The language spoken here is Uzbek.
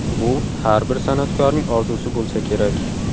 Bu har bir san’atkorning orzusi bo‘lsa kerak.